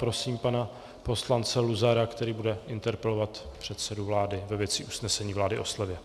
Prosím pana poslance Luzara, který bude interpelovat předsedu vlády ve věci usnesení vlády o slevě.